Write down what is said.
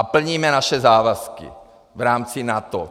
A plníme naše závazky v rámci NATO.